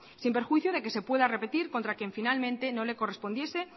sin perjuicio de que se pueda repetir contra quien finalmente no le correspondiese